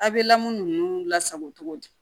A' bɛ lamɔ ninnu lasago cogo di